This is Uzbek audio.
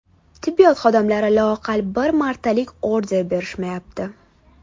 Tibbiyot xodimlari loaqal bir martalik order olib berishmayapti.